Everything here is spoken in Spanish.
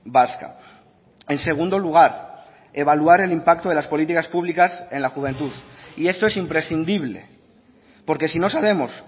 vasca en segundo lugar evaluar el impacto de las políticas públicas en la juventud y esto es imprescindible porque si no sabemos